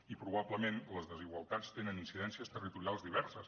i probablement les desigualtats tenen incidències territorials diverses